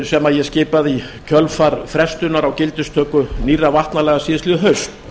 sem ég skipaði í kjölfar frestunar á gildistöku nýrra vatnalaga síðastliðið haust